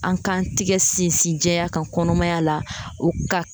An k'an tɛgɛ sinsin jɛya kan kɔnɔmaya la o ka